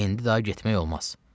İndi daha getmək olmaz.